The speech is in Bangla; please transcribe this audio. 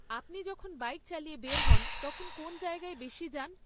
আপনি যখন বাইক চালিয়ে বের হন, তখন কোন জায়গায় বেশি যান?